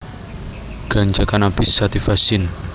Ganja Cannabis sativa syn